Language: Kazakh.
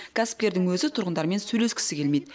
кәсіпкердің өзі тұрғындармен сөйлескісі келмейді